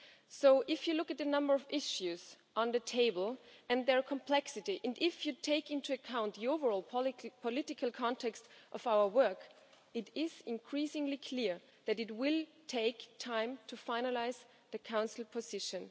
So if you look at the number of issues on the table and their complexity, and if you take into account the overall political context of our work, it is increasingly clear that it will take time to finalise the Council position.